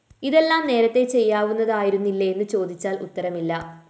ഇതെല്ലാം നേരത്തേ ചെയ്യാവുന്നവ ആയിരുന്നില്ലേ എന്ന് ചേദിച്ചാല്‍ ഉത്തരമില്ല